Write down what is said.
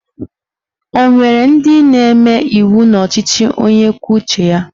O nwere ndị na-eme iwu n'ọchịchị onye kwuo uche ya?